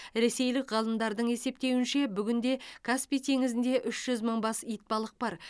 ресейлік ғалымдардың есептеуінше бүгінде каспий теңізінде үш жүз мың бас итбалық бар